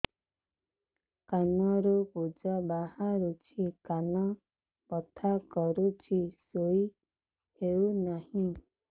କାନ ରୁ ପୂଜ ବାହାରୁଛି କାନ ବଥା କରୁଛି ଶୋଇ ହେଉନାହିଁ